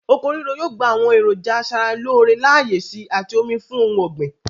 Oko ríro yòò gba àwọn èròńjà asara-lóóre láyè síi àti omi fún ohun ọ̀gbìn.